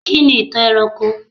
Kí ni ìtàn ẹranko?